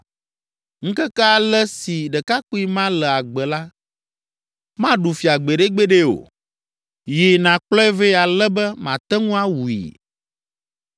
Ŋkeke ale si ɖekakpui ma le agbe la, màɖu fia gbeɖegbeɖe o. Yi, nàkplɔe vɛ ale be mate ŋu awui!”